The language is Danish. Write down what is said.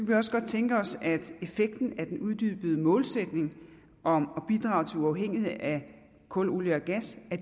vi også godt tænke os at effekten af den uddybede målsætning om at bidrage til uafhængighed af kul olie og gas